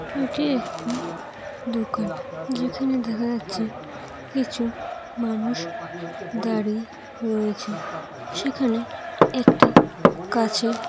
এটি একটি দোকান যেখানে দেখা যাচ্ছে কিছু মানুষ দাঁড়িয়ে রয়েছে সেখানে একটি কাঁচের--